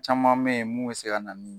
Caman be yen mun be se ka na ni